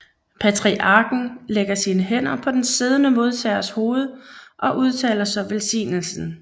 Patriarken lægger sine hænder på den siddende modtagers hoved og udtaler så velsignelsen